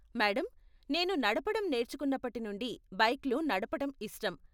Madam, నేను నడపటం నేర్చుకున్నప్పటి నుండి బైక్లు నడపటం ఇష్టం.